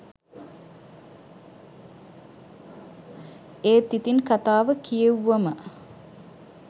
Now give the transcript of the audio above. ඒත් ඉතිං කතාව කියෙව්වම